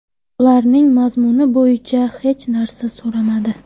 Ularning mazmuni bo‘yicha hech narsa so‘rashmadi”.